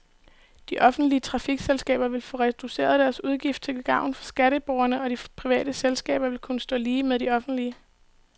De offentlige trafikselskaber vil få reduceret deres udgifter til gavn for skatteborgerne, og de private selskaber vil kunne stå lige med de offentlige.